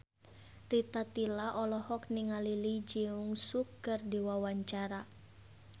Rita Tila olohok ningali Lee Jeong Suk keur diwawancara